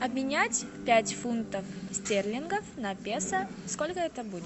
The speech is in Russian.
обменять пять фунтов стерлингов на песо сколько это будет